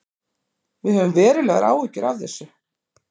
Við höfum verulegar áhyggjur af þessu